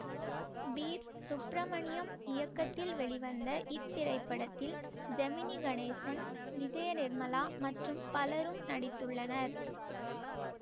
B Subramaniam இயக்கத்தில் வெளிவந்த இத்திரைப்படத்தில் ஜெமினி கணேசன் விஜயநிர்மலா மற்றும் பலரும் நடித்துள்ளனர்